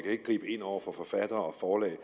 ikke gribe ind over for forfattere og forlag i